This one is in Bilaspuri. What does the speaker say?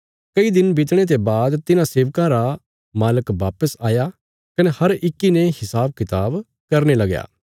कई दिन बीतणे ते बाद तिन्हां सेबकां रा मालक बापस आया कने हर इक्की ने हिसाबकताब करने लगया